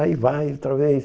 Aí vai, outra vez.